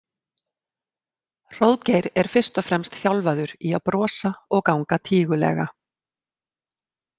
Hróðgeir er fyrst og fremst þjálfaður í að brosa og ganga tígulega.